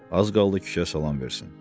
Az qaldı kişiyə salam versin.